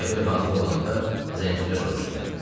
Qəbir hazır olanda zəncirlər soruşdular.